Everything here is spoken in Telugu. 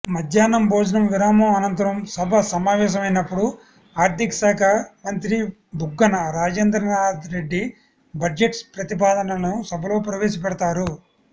మధ్యాహ్నం భోజన విరామం అనంతరం సభ సమావేశమైనప్పుడు ఆర్థికశాఖ మంత్రి బుగ్గన రాజేంద్రనాథ్ రెడ్డి బడ్జెట్ ప్రతిపాదనలను సభలో ప్రవేశపెడతారు